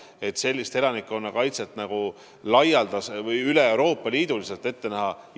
Kas sellist laialdast elanikkonnakaitset üle Euroopa Liidu on ette näha?